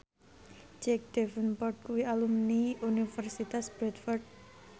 Jack Davenport kuwi alumni Universitas Bradford